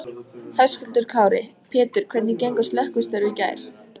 Höskuldur Kári: Pétur hvernig gengu slökkvistörf í gær?